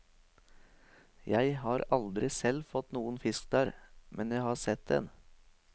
Jeg har aldri selv fått noen fisk der, men jeg har sett en.